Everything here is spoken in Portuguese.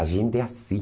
A gente é assim.